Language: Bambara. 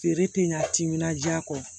Feere tɛ ɲa timinan diya kɔ